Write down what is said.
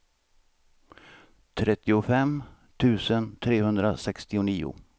trettiofem tusen trehundrasextionio